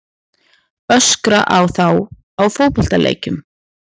Öskra á þá á fótboltaleikjum?